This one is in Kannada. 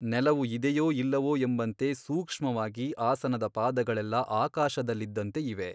ನೆಲವು ಇದೆಯೋ ಇಲ್ಲವೊ ಎಂಬಂತೆ ಸೂಕ್ಷ್ಮವಾಗಿ ಆಸನದ ಪಾದಗಳೆಲ್ಲ ಆಕಾಶದಲ್ಲಿದ್ದಂತೆ ಇವೆ.